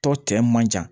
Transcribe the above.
Tɔ tɛ man ca